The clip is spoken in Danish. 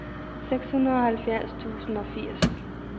seksoghalvfjerds tusind og firs